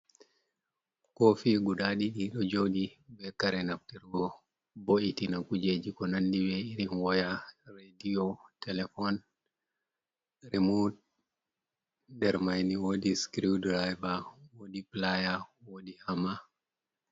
Kofi guda ɗiɗi ɗo joɗi ɓe kare naftirgo bo ittina kujeji ko nandi be irin woya radio telefon remut der maini wodi screw driver wodi playa wodi ama.